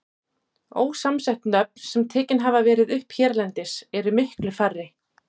Ósamsett nöfn, sem tekin hafa verið upp hérlendis, eru miklu færri.